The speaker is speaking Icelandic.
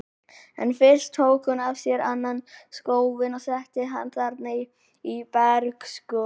En fyrst tók hún af sér annan skóinn og setti hann þarna í bergskoru.